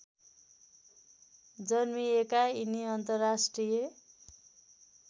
जन्मिएका यिनी अन्तर्राष्ट्रिय